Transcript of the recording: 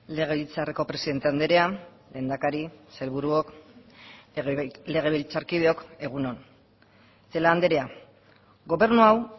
legebiltzarreko presidente andrea lehendakari sailburuok legebiltzarkideok egun on celaá andrea gobernu hau